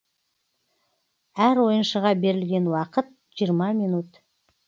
әр ойыншыға берілген уақыт жиырма минут